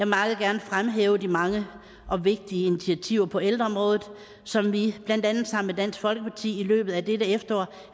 meget gerne fremhæve de mange og vigtige initiativer på ældreområdet som vi blandt andet sammen med dansk folkeparti i løbet af dette efterår